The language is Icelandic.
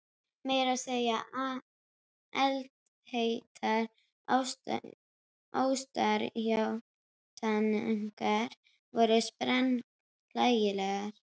Meira að segja eldheitar ástarjátningar voru sprenghlægilegar.